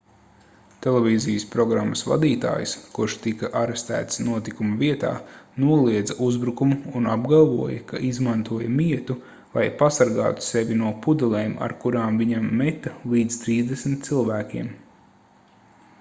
televīzijas programmas vadītājs kurš tika arestēts notikuma vietā noliedza uzbrukumu un apgalvoja ka izmantoja mietu lai pasargātu sevi no pudelēm ar kurām viņam meta līdz trīsdesmit cilvēkiem